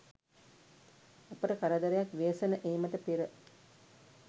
අපට කරදරයක් ව්‍යසන ඒමට පෙර